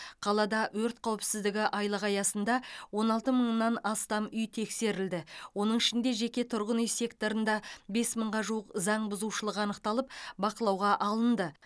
қалада өрт қауіпсіздігі айлығы аясында он алты мыңнан астам үй тексерілді оның ішінде жеке тұрғын үй секторында бес мыңға жуық заңбұзушылық анықталып бақылауға алынды